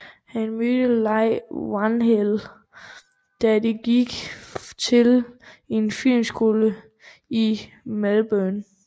Han mødte Leigh Whannell da de gik til en filmskole i Melbourne